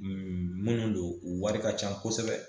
Minnu don wari ka ca kosɛbɛ